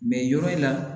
yɔrɔ in na